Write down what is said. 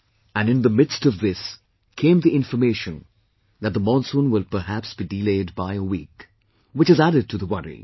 And in the midst of this came the information that the monsoon will perhaps be delayed by a week, which has added to the worry